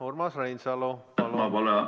Urmas Reinsalu.